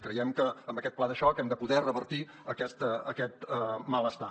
creiem que amb aquest pla de xoc hem de poder revertir aquest malestar